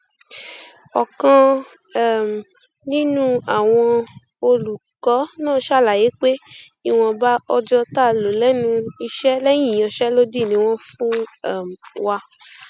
ọkan um nínú àwọn olùkọ náà ṣàlàyé pé ìwọnba ọjọ tá a lò lẹnu iṣẹ lẹyìn ìyanṣẹlódì ni wọn fún um wa